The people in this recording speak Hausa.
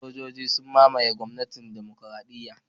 Sojoji sun mamaye gwamnatin Demokradiyya